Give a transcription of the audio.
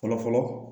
Fɔlɔ fɔlɔ